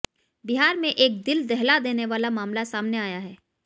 बिहार में एक दिल दहला देने वाला मामला सामने आया है